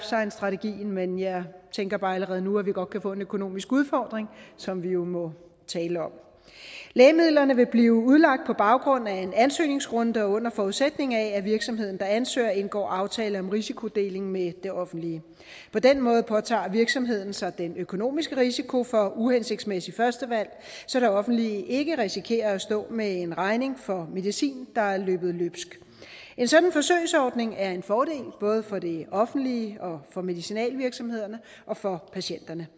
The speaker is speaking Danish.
science strategien men jeg tænker bare allerede nu at vi godt kan få en økonomisk udfordring som vi må tale om lægemidlerne vil blive udlagt på baggrund af en ansøgningsrunde og under forudsætning af at virksomheden der ansøger indgår aftale om risikodeling med det offentlige på den måde påtager virksomheden sig den økonomiske risiko for uhensigtsmæssigt førstevalg så det offentlige ikke risikerer at stå med en regning for medicin der er løbet løbsk en sådan forsøgsordning er en fordel både for det offentlige og for medicinalvirksomhederne og for patienterne